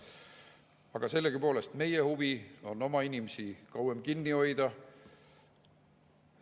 Aga sellegipoolest peaks meil olema huvi oma inimesi kauem kinni hoida.